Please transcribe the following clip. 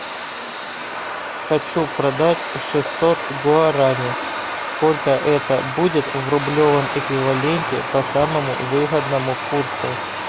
хочу продать шестьсот гуарани сколько это будет в рублевом эквиваленте по самому выгодному курсу